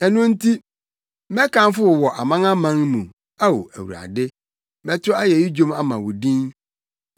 Ɛno nti, mɛkamfo wo wɔ amanaman mu, Ao Awurade. Mɛto ayeyi dwom ama wo din.